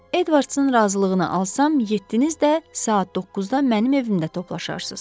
Edvardsın razılığını alsam, yeddiniz də saat 9-da mənim evimdə toplaşarsız.